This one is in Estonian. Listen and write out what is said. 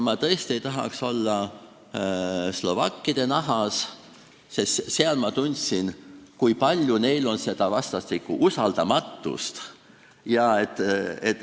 Ma tõesti ei tahaks olla slovakkide nahas, sest ma tundsin, kui palju neil on vastastikust usaldamatust.